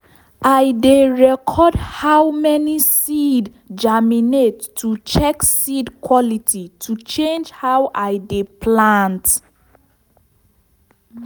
i dey record how many seed germinate to change seed quality and change how i dey plant.